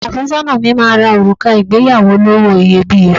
Ọkọ àfẹ́sọ́nà mi máa ra òrùka ìgbéyàwó olówó iyebíye